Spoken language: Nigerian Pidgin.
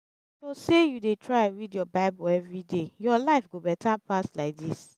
if to say you dey try read your bible everyday your life go better better pass like dis